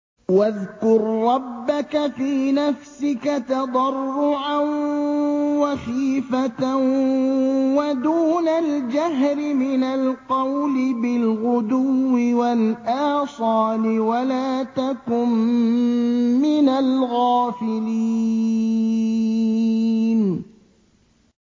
وَاذْكُر رَّبَّكَ فِي نَفْسِكَ تَضَرُّعًا وَخِيفَةً وَدُونَ الْجَهْرِ مِنَ الْقَوْلِ بِالْغُدُوِّ وَالْآصَالِ وَلَا تَكُن مِّنَ الْغَافِلِينَ